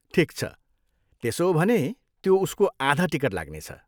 ठिक छ, त्यसो हो भने त्यो उसको आधा टिकट लाग्नेछ।